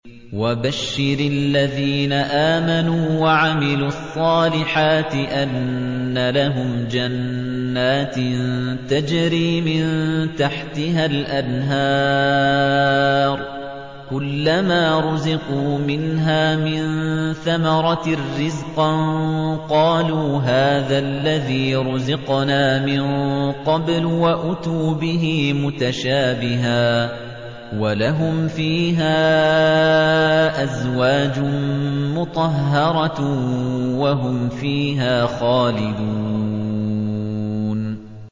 وَبَشِّرِ الَّذِينَ آمَنُوا وَعَمِلُوا الصَّالِحَاتِ أَنَّ لَهُمْ جَنَّاتٍ تَجْرِي مِن تَحْتِهَا الْأَنْهَارُ ۖ كُلَّمَا رُزِقُوا مِنْهَا مِن ثَمَرَةٍ رِّزْقًا ۙ قَالُوا هَٰذَا الَّذِي رُزِقْنَا مِن قَبْلُ ۖ وَأُتُوا بِهِ مُتَشَابِهًا ۖ وَلَهُمْ فِيهَا أَزْوَاجٌ مُّطَهَّرَةٌ ۖ وَهُمْ فِيهَا خَالِدُونَ